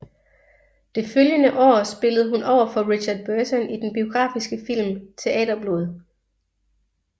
Det følgende år spillede hun overfor Richard Burton i den biografiske film Teaterblod